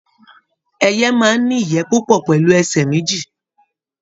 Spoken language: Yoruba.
Ẹyẹ máa n ní ìyẹ́ púpọ pẹlu ẹsẹ méjì.